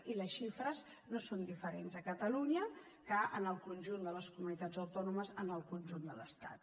i les xifres no són diferents a catalunya que en el conjunt de les comunitats autònomes en el conjunt de l’estat